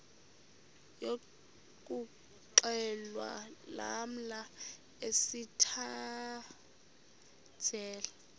yokuxhelwa lamla sithandazel